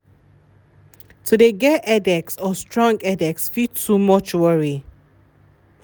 to de get headaches or strong headaches fit too much worry.